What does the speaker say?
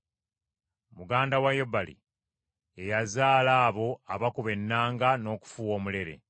Muganda we Yubali, ye yazaala abo abakuba ennanga n’okufuuwa omulere.